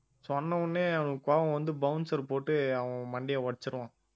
சொன்ன உடனே அவனுக்கு கோபம் வந்து bouncer போட்டு அவன் மண்டையை உடைச்சிருவான்